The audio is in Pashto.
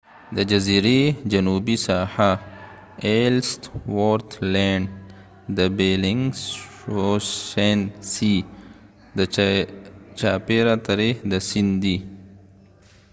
د ellsworth land د جزیری جنوبی ساحه ده چی چاپیره تری د bellingshausen sea سیند دی